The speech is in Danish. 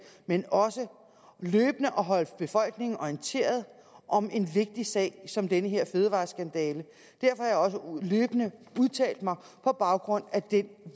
men også løbende at holde befolkningen orienteret om en vigtig sag som denne fødevareskandale derfor har jeg også løbende udtalt mig på baggrund af den